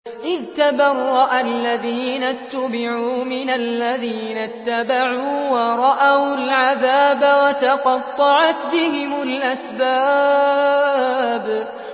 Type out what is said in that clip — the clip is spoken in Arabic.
إِذْ تَبَرَّأَ الَّذِينَ اتُّبِعُوا مِنَ الَّذِينَ اتَّبَعُوا وَرَأَوُا الْعَذَابَ وَتَقَطَّعَتْ بِهِمُ الْأَسْبَابُ